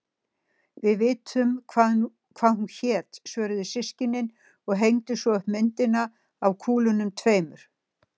Við vitum hvað hún hét, svöruðu systkinin og hengdu svo upp myndina af kúlunum tveimur.